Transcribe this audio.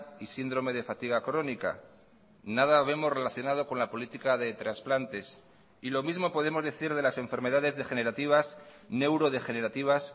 y síndrome de fatiga crónica nada vemos relacionado con la política de trasplantes y lo mismo podemos decir de las enfermedades degenerativas neurodegenerativas